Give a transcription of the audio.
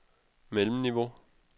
mellemniveau